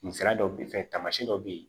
Kun sera dɔw bɛ fɛn taamasiyɛn dɔ bɛ ye